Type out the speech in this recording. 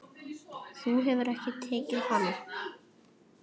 Þú hefur ekki tekið hana?